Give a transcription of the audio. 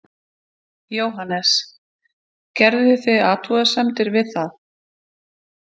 Jóhannes: Gerðuð þið athugasemdir við það?